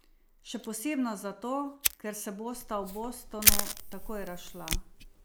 Še posebno zato, ker se bosta v Bostonu takoj razšla.